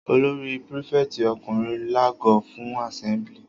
Olórí prífẹ̀tì ọkùnrin lago fún àsẹ́mblì.